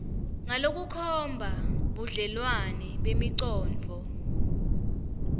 ngalokukhomba budlelwane bemicondvo